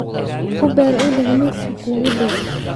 Uber u dhig midka kuugu dhow